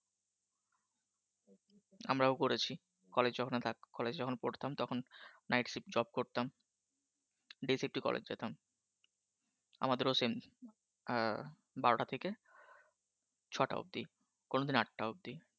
আমরাও করেছি college যখন না থাকতো college যখন করতাম তখন night shift job করতাম day shift college যেতাম আমাদেরও সেইম বারোটা থেকে ছটা অবধি কোনদিন আটটা অব্দি।